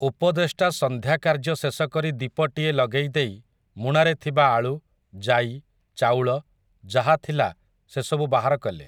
ଉପଦେଷ୍ଟା ସଂନ୍ଧ୍ୟା କାର୍ଯ୍ୟ ଶେଷକରି ଦୀପଟିଏ ଲଗେଇ ଦେଇ ମୁଣାରେ ଥିବା ଆଳୁ, ଜାଇ, ଚାଉଳ ଯାହା ଥିଲା ସେସବୁ ବାହାର କଲେ ।